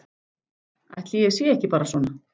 Ætli ég sé ekki bara svona.